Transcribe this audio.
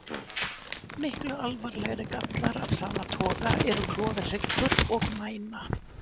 Miklu alvarlegri gallar af sama toga eru klofinn hryggur og mæna.